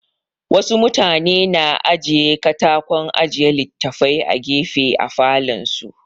Wa su mutane na aje katakon aje littafai a gefe a falon su